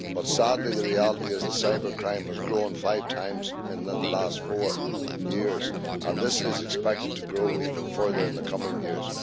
But sadly, the reality is that cybercrime has grown five times within the last four years, and this is expected to grow even further in the coming years.